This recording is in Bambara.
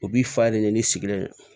O b'i fa ye ne sigilen don